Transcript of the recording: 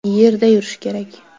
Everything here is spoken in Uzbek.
Yerda yurish kerak.